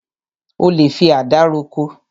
O lè fi àdá roko.